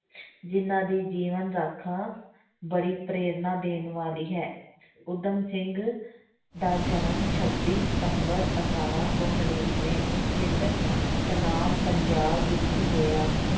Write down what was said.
ਜਿੰਨਾਂ ਦੀ ਜੀਵਨ ਗਾਥਾ ਬੜੀ ਪ੍ਰੇਰਨਾ ਦੇਣ ਵਾਲੀ ਹੈ ਊਧਮ ਸਿੰਘ ਦਾ ਜਨਮ ਛੱਬੀ ਸਤੰਬਰ ਅਠਾਰਾਂ ਸੌ ਨੜ੍ਹਿਨਵੇਂ ਨੂੰ ਪਿੰਡ ਸਨਾਮ ਪੰਜਾਬ ਵਿੱਚ ਹੋਇਆ